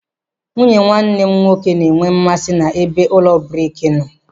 Nwunye nwanne m nwoke na-enwe mmasị ebe ụlọ brik nọ.